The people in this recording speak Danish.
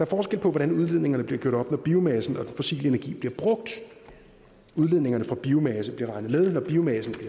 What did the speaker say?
forskel på hvordan udledningerne bliver gjort op når biomassen og den fossile energi bliver brugt udledningerne fra biomasse bliver regnet med når biomassen